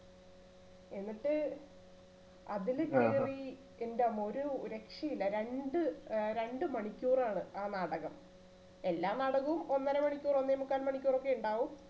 എന്നിട്ട് അതില് കേറി എന്റമ്മോ ഒരു രക്ഷയില്ല രണ്ട് ഏർ രണ്ടുമണിക്കൂറാണ് ആ നാടകം എല്ലാ നാടകവും ഒന്നര മണിക്കൂർ ഒന്നേ മുക്കാൽ മണിക്കൂറൊക്കെയേ ഉണ്ടാവു